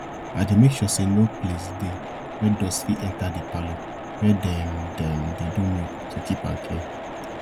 i dey make sure say no place dey wey dust fit enta de parlor wey dem dem dey do milk to keep am clean